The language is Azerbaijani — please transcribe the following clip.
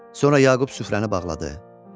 Sonra Yaqub süfrəni bağladı.